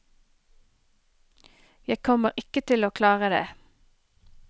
Jeg kommer ikke til å klare det.